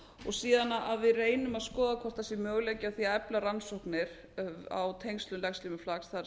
og síðan að við reynum að skoða hvort það sé möguleiki á því að efla rannsóknir á tengslum legslímuflakks þar